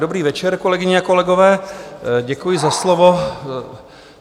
Dobrý večer, kolegyně a kolegové, děkuji za slovo.